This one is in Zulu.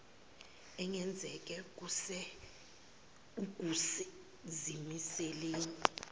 engenzeke kuse ukuzimiseleni